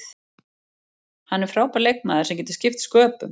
Hann er frábær leikmaður sem getur skipt sköpum.